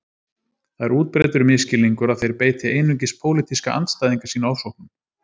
Það er útbreiddur misskilningur að þeir beiti einungis pólitíska andstæðinga sína ofsóknum